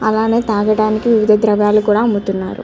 అలానే తాగడానికి ద్రవాలు కూడా అమ్ముతున్నారు.